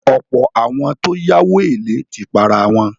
Ọ̀pọ̀ àwọn tó yáwó èlé ti parawọn.